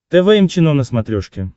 тэ вэ эм чено на смотрешке